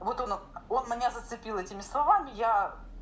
вот он он меня зацепил этими словами я